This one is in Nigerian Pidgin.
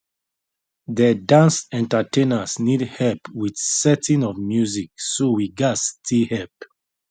de dance entertainers need help with setting of music so we gas stay help